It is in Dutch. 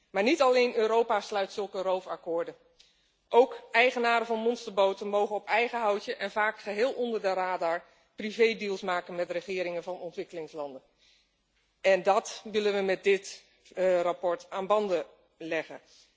Maar niet alleen Europa sluit zulke roofakkoorden, ook eigenaars van monsterboten mogen op eigen houtje en vaak geheel onder de radar, privédeals maken met de regeringen van ontwikkelingslanden. Dat willen we met dit verslag aan banden leggen.